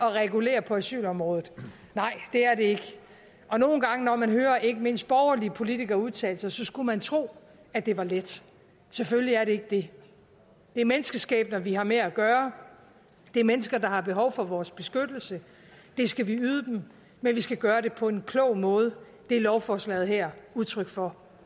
at regulere på asylområdet nej det er det ikke og nogle gange når man hører ikke mindst borgerlige politikere udtale sig så skulle man tro at det var let selvfølgelig er det ikke det det er menneskeskæbner vi har med at gøre det er mennesker der har behov for vores beskyttelse det skal vi yde dem men vi skal gøre det på en klog måde det er lovforslaget her udtryk for